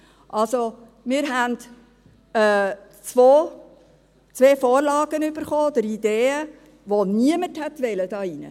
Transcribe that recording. Also haben wir zwei Vorlagen erhalten, oder Ideen, die niemand wollte hier drin.